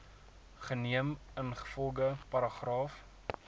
geneem ingevolge paragraaf